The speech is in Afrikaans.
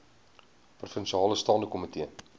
provinsiale staande komitee